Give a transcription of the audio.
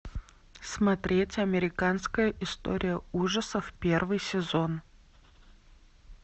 смотреть американская история ужасов первый сезон